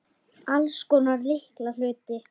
Alls konar litla hluti.